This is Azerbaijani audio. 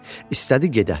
İstədi gedə.